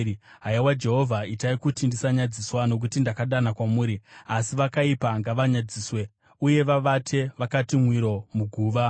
Haiwa Jehovha, itai kuti ndisanyadziswa, nokuti ndakadana kwamuri; asi vakaipa ngavanyadziswe uye vavate vakati mwiro muguva.